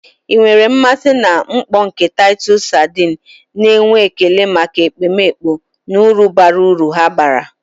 Ị nwere mmasị na mkpọ nke Taịtọs sardines, na-enwe ekele maka ekpomeekpo na uru bara uru ha bara.